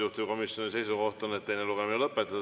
Juhtivkomisjoni seisukoht on, et teine lugemine tuleb lõpetada.